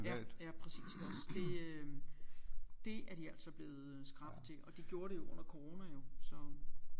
Ja ja præcis også det øh det er de altså blevet skrappe til og de gjorde det jo under corona jo så